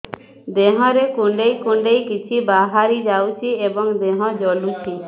ଦେହରେ କୁଣ୍ଡେଇ କୁଣ୍ଡେଇ କିଛି ବାହାରି ଯାଉଛି ଏବଂ ଦେହ ଜଳୁଛି